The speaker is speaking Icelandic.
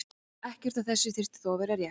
Ekkert af þessu þyrfti þó að vera rétt.